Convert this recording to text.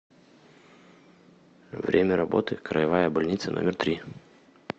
время работы краевая больница номер три